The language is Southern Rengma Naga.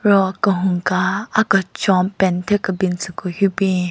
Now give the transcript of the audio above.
Ro kehunka akechon paint thyu kebin tsü ku hyu bin.